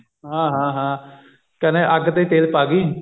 ਹਾਂ ਹਾਂ ਹਾਂ ਕਹਿੰਦੇ ਅੱਗ ਤੇ ਤੇਲ ਪਾਗੀ